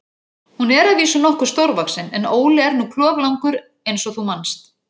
Hún er að vísu nokkuð stórvaxin, en Óli er nú kloflangur eins og þú manst.